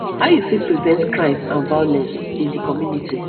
how you fit prevent crime and violence in di community